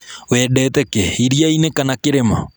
Wendete kĩ, iriainĩ kana kĩrĩma?